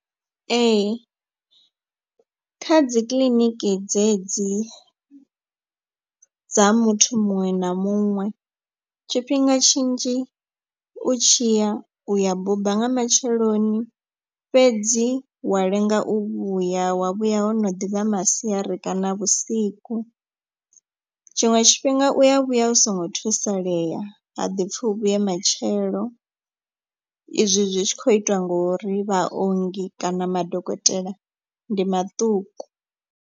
Ee kha dzikiḽiniki dze dzi dza muthu muṅwe na muṅwe tshifhinga tshinzhi u tshiya uya buba nga matsheloni. Fhedzi wa lenga u vhuya wa vhuya wo no ḓivha masiari kana vhusiku. Tshiṅwe tshifhinga u ya vhuya u songo thusaleya ha ḓipfi u vhuye matshelo izwi zwi tshi kho itwa ngori vhaongi kana madokotela ndi maṱuku.